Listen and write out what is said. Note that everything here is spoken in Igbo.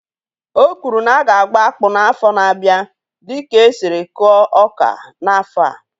Ọ kwụrụ na aga agba akpụ n'afọ n'abia dịka esiri kụọ ọka n'afọ a